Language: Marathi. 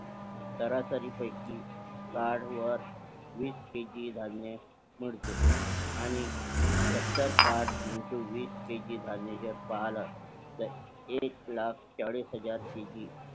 सरासरी पैकी कार्ड वर वीस KG धान्य मिळते आणि सत्तर कार्ड Into वीस KG धान्य जर पाहालं तर एक लाख चाळीस हजार KG